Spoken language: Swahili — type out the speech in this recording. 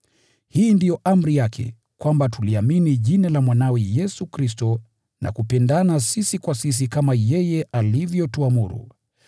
Hii ndiyo amri yake: kwamba tuliamini Jina la Mwanawe, Yesu Kristo, na kupendana sisi kwa sisi kama yeye alivyotuamuru.